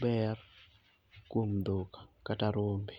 ber kuom dhok kata rombe..